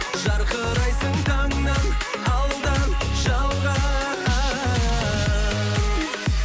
жарқырайсың таңнан алдан жалған